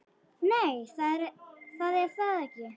Nei, það er það ekki.